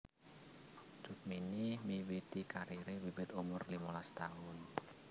Cut Mini miwiti karire wiwit umur limolas taun